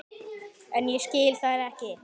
En ég skil þær ekki.